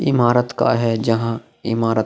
इमारत का है जहाँ इमारत --